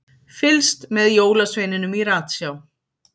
Fylgst með jólasveininum í ratsjá